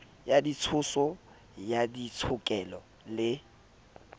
ya ditshoso ya ditshokelo le